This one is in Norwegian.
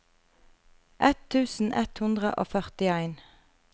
ett tusen ett hundre og førtien